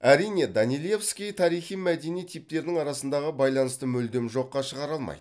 әрине данилевский тарихи мәдени типтердің арасындағы байланысты мүлдем жоққа шығара алмайды